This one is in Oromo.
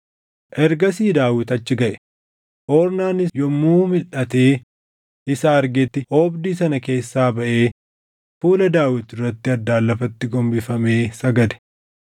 Ornaan utuu qamadii dhaʼuutti jiruu ol jedhee ergamaa Waaqayyoo sana arge; ilmaan isaa warri isa wajjin turan afranis ni dhokatan.